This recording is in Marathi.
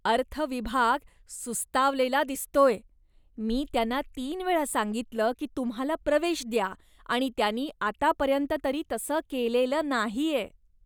अर्थ विभाग सुस्तावलेला दिसतोय. मी त्यांना तीन वेळा सांगितलं की तुम्हाला प्रवेश द्या आणि त्यांनी आतापर्यंत तरी तसं केलेलं नाहीये.